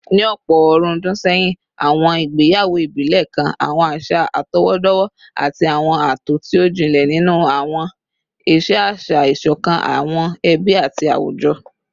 Ní ọ̀pọ̀ ọ̀rúndún sẹ́yìn, àwọn ìgbéyàwó ìbílẹ̀ kan àwọn àṣà àtọwọ́dọ́wọ́ àti àwọn ààtò tí ó jinlẹ̀ nínú àwọn ìṣe àṣà, ìṣọ̀kan àwọn ẹbí àti àwùjọ